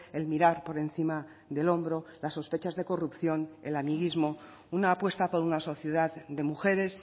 el mirar por encima del hombro las sospechas de corrupción el amiguismo una apuesta por una sociedad de mujeres